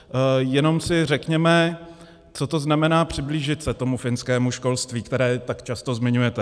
Jenom si řekněme, co to znamená přiblížit se tomu finskému školství, které tak často zmiňujete.